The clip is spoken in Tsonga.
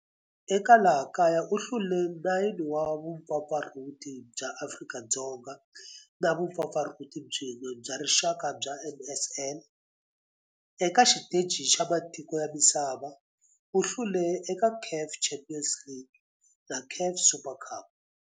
Eka laha kaya u hlule 9 wa vumpfampfarhuti bya Afrika-Dzonga na vumpfampfarhuti byin'we bya rixaka bya NSL. Eka xiteji xa matiko ya misava, u hlule eka CAF Champions League na CAF Super Cup.